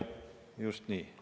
Jah, just nii.